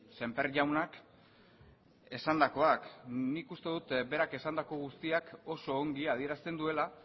sémper jaunak esandakoak nik uste dut berak esandako guztiak oso ongi adierazten duela